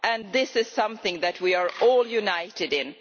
This is something that we are all united in.